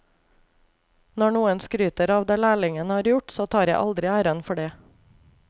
Når noen skryter av det lærlingen har gjort, så tar jeg aldri æren for det.